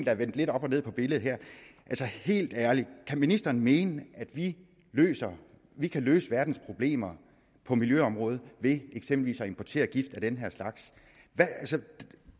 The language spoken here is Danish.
er vendt lidt op og ned på billedet her helt ærligt kan ministeren mene at vi vi kan løse verdens problemer på miljøområdet ved eksempelvis at importere gift af den her slags